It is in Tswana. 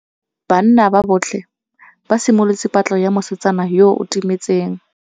Banna botlhê ba simolotse patlô ya mosetsana yo o timetseng.